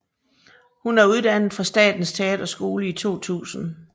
Hun er uddannet fra Statens Teaterskole i 2000